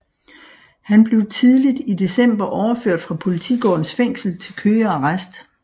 Han blev tidligt i december overført fra Politigårdens Fængsel til Køge Arrest